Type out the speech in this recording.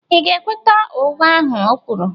Ị̀ ga-ekweta ụgha ahụ o kwuru?